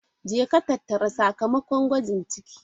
Jeka tattara sakamakon gwajin ciki!